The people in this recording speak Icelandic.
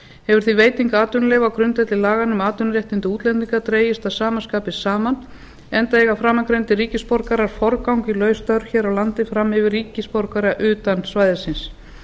hefur því veiting atvinnuleyfa á grundvelli laganna um atvinnuréttindi útlendinga dregist að sama skapi saman enda eiga framangreindir ríkisborgarar forgang í laus störf hér á landi fram yfir ríkisborgara utan svæðisins